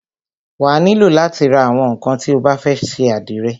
Wà á nílò látí ra àwọn ńnkan tí o bá fẹ́ ṣe àdìrẹ.